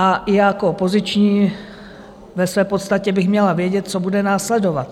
A i jako opoziční ve své podstatě bych měla vědět, co bude následovat.